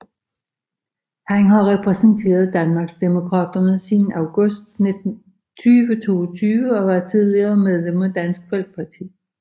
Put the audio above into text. Han har repræsenteret Danmarksdemokraterne siden august 2022 og var tidligere medlem af Dansk Folkeparti